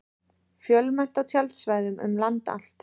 Fjölmennt á tjaldsvæðum um land allt